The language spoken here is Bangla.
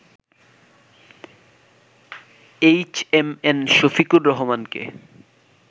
এইচএমএন শফিকুর রহমানকে